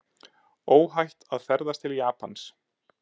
Óhætt að ferðast til Japans